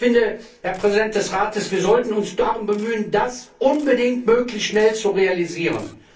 Ich finde, Herr Präsident des Rates, wir sollten uns darum bemühen, das unbedingt möglichst schnell zu realisieren.